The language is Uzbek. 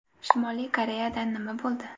Shimoliy Koreyada nima bo‘ldi?